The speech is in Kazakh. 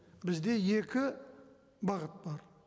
бізде екі бағыт бар